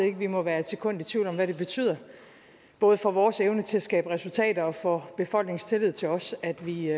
ikke vi må være et sekund i tvivl om hvad det betyder både for vores evne til at skabe resultater og for befolkningens tillid til os at vi